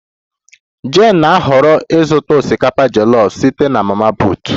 Jane na-ahọrọ ịzụta osikapa jollof site na mama put